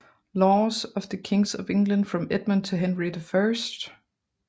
Laws of the Kings of England from Edmund to Henry I